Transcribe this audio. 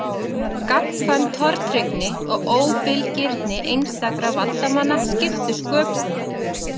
Gagnkvæm tortryggni og óbilgirni einstakra valdamanna skiptu sköpum.